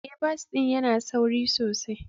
Ee, bas ɗin yana da sauri sosai.